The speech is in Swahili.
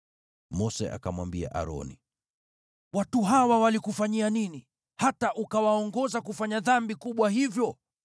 Mose akamwambia Aroni, “Watu hawa walikufanyia nini, hata ukawaongoza kufanya dhambi kubwa hivyo?”